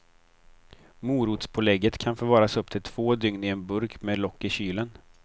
Morotspålägget kan förvaras upp till två dygn i en burk med lock i kylen.